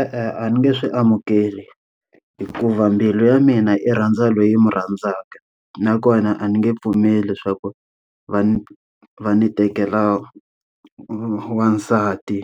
E-e, a ni nge swi amukeli hikuva mbilu ya mina yi rhandza loyi n'wi rhandzaka. Nakona a ni nge pfumeli leswaku va ni va ni tekela wansati,